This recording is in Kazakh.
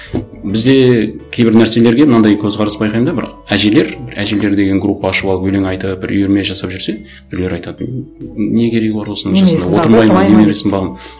бізде кейбір нәрселерге мынандай көзқарас байқаймын да бір әжелер бір әжелер деген группа ашып алып өлең айтып бір үйірме жасап жүрсе біреулер айтады не керегі бар осының жасында